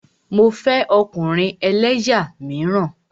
Mo fẹ́ ọkùnrin ẹlẹ́yà míràn.